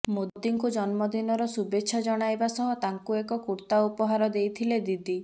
ମୋଦିଙ୍କୁ ଜନ୍ମଦିନର ଶୁଭେଚ୍ଛା ଜଣାଇବା ସହ ତାଙ୍କୁ ଏକ କୂର୍ତ୍ତା ଉପହାର ଦେଇଥିଲେ ଦିଦି